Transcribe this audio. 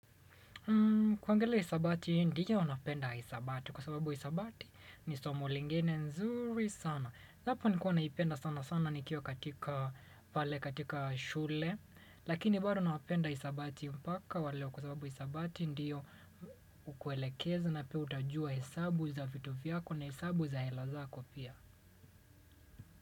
Hmm, kuangalia hisabati, ndiyo napenda hisabati kwa sababu hisabati ni somo lingine nzuri sana. Japo nikua naipenda sana sana nikiwa katika pale katika shule. Lakini bado napenda hisabati mpaka wa leo kwa sababu hisabati ndiyo hukuelekeza na pia utajua hesabu za vitu vyako na hesabu za hela zako pia.